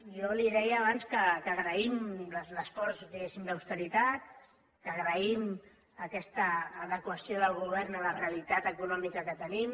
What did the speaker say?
jo li deia abans que agraïm l’esforç diguéssim d’austeritat que agraïm aquesta adequació del govern a la realitat econòmica que tenim